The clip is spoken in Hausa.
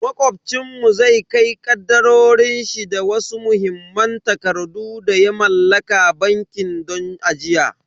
Macobcin mu zai kai kadarorin shi da wasu muhimman takardu da ya mallaka banki don ajiya.